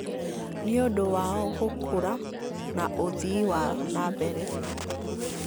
nĩ ũndũ wao gũkũra na ũthii wa nambere